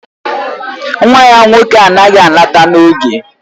Nwa ya nwoke anaghị alọta n'oge